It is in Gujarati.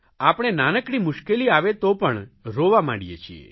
આપણે નાનકડી મુશ્કેલી આવે તો પણ રોવા માંડીએ છીએ